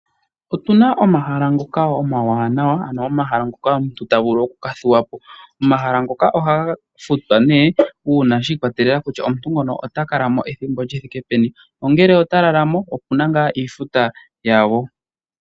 Otuna omahala ngoka omawanawa ano omahala ngoka omuntu ta vulu okukathuwa po. Omahala ngoka ohaga futwa nee uuna shiikwatelela kutya omuntu ota kala mo ethimbo li thike peni ongele ota lala mo okuna ngaa iifuta yago.